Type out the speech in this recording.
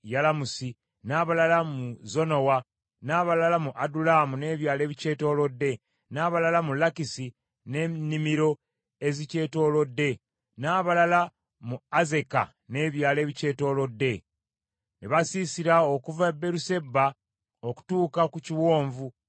n’abalala mu Zonowa, n’abalala mu Adulamu n’ebyalo ebikyetoolodde, n’abalala mu Lakisi n’ennimiro ezikyetoolodde, n’abalala mu Azeka n’ebyalo ebikyetoolodde. Ne basiisira okuva e Beeruseba okutuuka ku kiwonvu kya Kinomu.